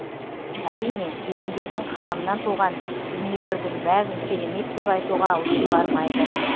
әрине кемеңгердің қаламынан туған дүниелердің бәрін керемет деп айтуға аузым бармайды